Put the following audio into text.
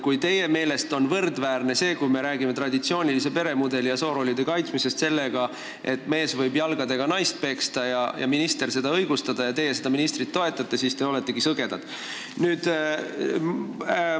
Kui teie meelest on see, kui me räägime traditsioonilise peremudeli ja soorollide kaitsmisest, võrdväärne sellega, et mees võib naist jalgadega peksta ja minister seda õigustada, ning teie seda ministrit toetate, siis te oletegi sõgedad.